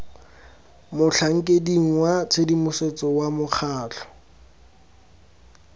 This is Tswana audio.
motlhankeding wa tshedimosetso wa mokgatlho